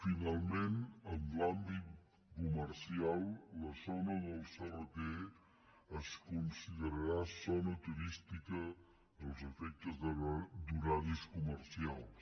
finalment en l’àmbit comercial la zona del crt es considerarà zona turística als efectes d’horaris comercials